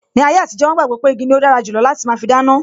Ni ayé àtijó, wọn gbàgbọ́ pé igi ni ó dára jù lọ láti máa fi dáná